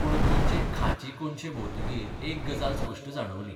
पूण गोंयचे खांची कोनशे भोंवतकीर एक गजाल स्पश्ट जाणवली.